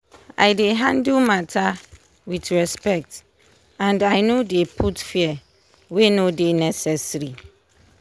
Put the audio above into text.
i dey handle matter with respect and i no dey put fear wey no dey necessary.